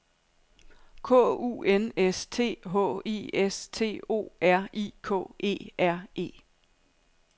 K U N S T H I S T O R I K E R E